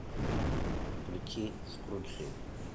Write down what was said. включи скруджи